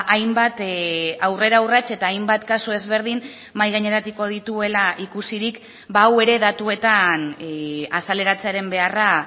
hainbat aurrera urrats eta hainbat kasu ezberdin mahai gaineratuko dituela ikusirik hau ere datuetan azaleratzearen beharra